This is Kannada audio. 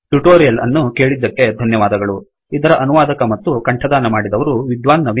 ಟ್ಯುಟೊರಿಯಲ್ ಅನ್ನು ಕೇಳಿದ್ದಕ್ಕೆ ಧನ್ಯವಾದಗಳುಇದರ ಅನುವಾದಕ ಮತ್ತು ಕಂಠದಾನ ಮಾಡಿದವರು ವಿದ್ವಾನ್ ನವೀನ್